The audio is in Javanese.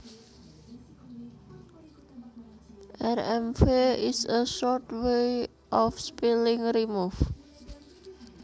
Rmv is a short way of spelling remove